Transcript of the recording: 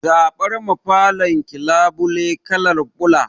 Zaɓar ma falon ki labule kalar ruwan ɓula